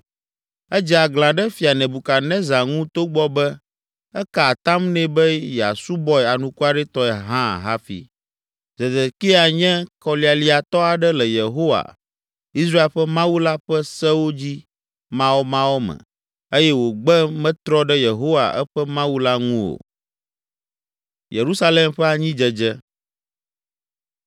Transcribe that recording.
Edze aglã ɖe Fia Nebukadnezar ŋu togbɔ be eka atam nɛ be yeasubɔe anukwaretɔe hã hafi. Zedekia nye kɔlialiatɔ aɖe le Yehowa, Israel ƒe Mawu la ƒe sewo dzi mawɔmawɔ me eye wògbe metrɔ ɖe Yehowa, eƒe Mawu la ŋu o.